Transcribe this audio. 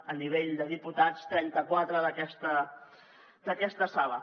a nivell de diputats trenta quatre d’aquesta sala